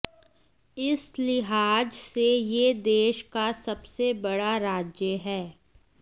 इस लिहाज से यह देश का सबसे बड़ा राज्य है